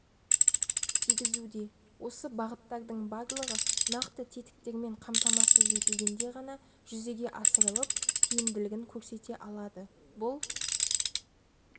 тигізуде осы бағыттардың барлығы нақты тетіктермен қамтамасыз етілгенде ғана жүзеге асырылып тиімділігін көрсете алады бұл